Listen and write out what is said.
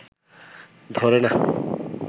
ধরে না!